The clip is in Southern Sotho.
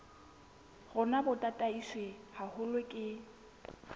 rona bo tataiswe haholo ke